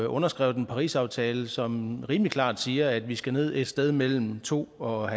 underskrevet en parisaftale som rimelig klart siger at vi skal ned et sted mellem to og